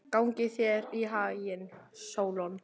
Gangi þér allt í haginn, Sólon.